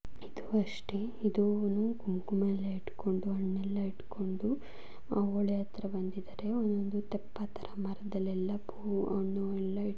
ಇದು ಅಷ್ಟೇ. ಇದುನು ಕುಂಕುಮಾ ಯಲ್ಲಾ ಇಟ್ಟ್ಕೊಂಡು ಹಣ್ಣ ಯಲ್ಲಾ ಇಟ್ಟ್ಕೊಂಡು ಅವಳೆತ್ತ್ರಾ ಬಂದಿದ್ದಾರೆ. ಒಂದೊಡನು ತೆಪ್ಪ ತರಾ ಮರಾದಲ್ಲೆಲ್ಲ ಫೋ ಹಣ್ಣು ಯಲ್ಲಾ --